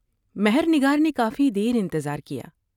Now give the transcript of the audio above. مہر نگار نے کافی دیر انتظار کیا ۔